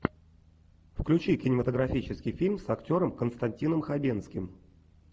включи кинематографический фильм с актером константином хабенским